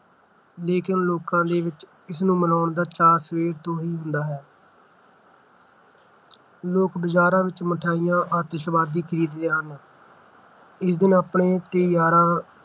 ਲੇਕਿਨ ਲੋਕਾਂ ਦੇ ਵਿੱਚ ਇਸ ਨੂੰ ਮਨਾਉਣ ਦਾ ਚਾਅ ਸਵੇਰ ਤੋਂ ਹੀ ਹੁੰਦਾ ਹੈ। ਲੋਕ ਬਾਜ਼ਾਰਾਂ ਵਿੱਚ ਮਠਿਆਈਆਂ ਆਤਿਸ਼ਬਾਜੀ ਖਰੀਦਦੇ ਹਨ ਇਸ ਦਿਨ ਆਪਣੇ ਤੇ ਯਾਰਾਂ